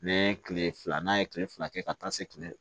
N'an ye kile fila n'a ye kile fila kɛ ka taa se